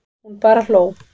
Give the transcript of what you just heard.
Hún bara hló.